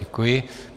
Děkuji.